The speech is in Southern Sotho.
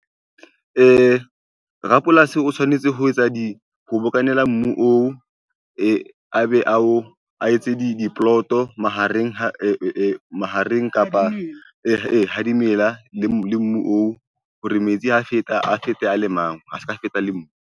Rapolasi o tshwanetse ho etsa di ho bokanela mobu oo a be a o etse diploto mahareng kapa ha dimela le mbu oo hore metsi ha feta a fete a le mang, a seka feta le .